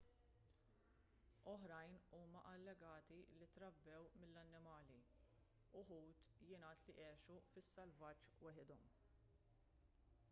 oħrajn huma allegati li trabbew mill-annimali uħud jingħad li għexu fis-selvaġġ waħedhom